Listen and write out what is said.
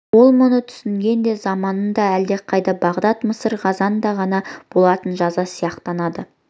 ол мұның түсінігінде заманында әлдеқайдағы бағдат мысыр ғазнада ғана болатын жаза сияқтанады